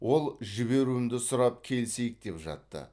ол жіберуімді сұрап келісейік деп жатты